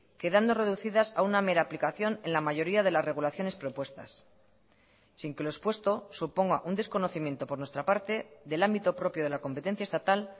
quedando reducidas a una mera aplicación en la mayoría de las regulaciones propuestas sin que lo expuesto suponga un desconocimiento por nuestra parte del ámbito propio de la competencia estatal